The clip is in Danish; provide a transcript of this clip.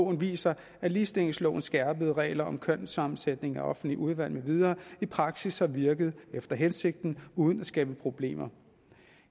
viser at ligestillingslovens skærpede regler om kønssammensætningen af offentlige udvalg med videre i praksis har virket efter hensigten uden at skabe problemer